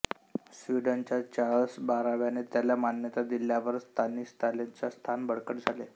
स्वीडनच्या चार्ल्स बाराव्याने त्याला मान्यता दिल्यावर स्तानिस्लॉसचे स्थान बळकट झाले